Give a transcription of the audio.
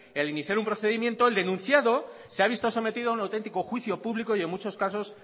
el iniciar un procedimiento el denunciado se ha visto sometido a un auténtico juicio público y en muchos casos